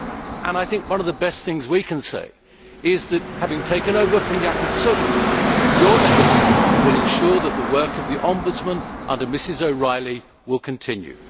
And I think one of the best things we can say is that, having taken over from Jacob Söderman, your legacy will ensure that the work of the Ombudsman under Ms O'Reilly will continue.